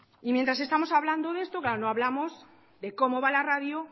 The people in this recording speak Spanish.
y mientras estamos hablando de esto claro no hablamos de cómo va la radio